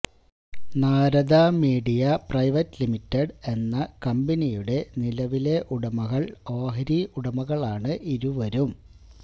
Narada media private limited എന്ന കമ്പനിയുടെ നിലവിലെ ഉടമകള് ഓഹരി ഉടമകളാണ് ഇരുവരും